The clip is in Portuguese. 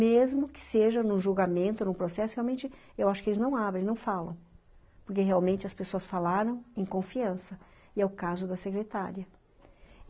Mesmo que seja em um julgamento, num processo, realmente, eu acho que eles não abrem, não falam, porque realmente as pessoas falaram em confiança, e é o caso da secretária.